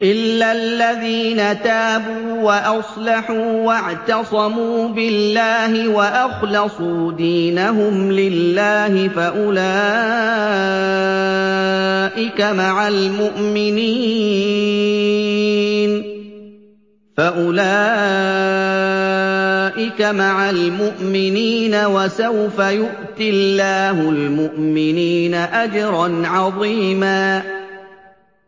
إِلَّا الَّذِينَ تَابُوا وَأَصْلَحُوا وَاعْتَصَمُوا بِاللَّهِ وَأَخْلَصُوا دِينَهُمْ لِلَّهِ فَأُولَٰئِكَ مَعَ الْمُؤْمِنِينَ ۖ وَسَوْفَ يُؤْتِ اللَّهُ الْمُؤْمِنِينَ أَجْرًا عَظِيمًا